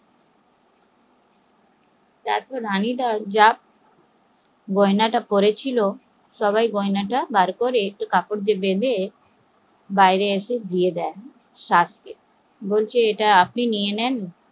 তারপর রানীটা যা গয়না পরে ছিল সব গয়না বের করে কাপড় দিয়ে বেঁধে বাইরে এসে দিয়ে দেয়, বলছে ইটা আপনি নিয়ে নেন